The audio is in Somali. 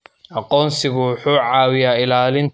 Aqoonsigu wuxuu caawiyaa ilaalinta ilmaha.